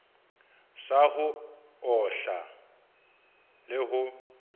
sa ho ohla le ho